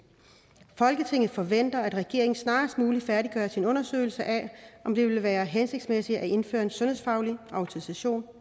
folketinget forventer at regeringen snarest muligt færdiggør sin undersøgelse af om det vil være hensigtsmæssigt at indføre en sundhedsfaglig autorisation